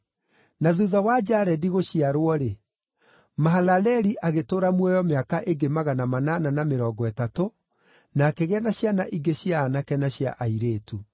Na thuutha wa Jaredi gũciarwo-rĩ, Mahalaleli agĩtũũra muoyo mĩaka ĩngĩ magana manana na mĩrongo ĩtatũ, na akĩgĩa na ciana ingĩ cia aanake na cia airĩtu.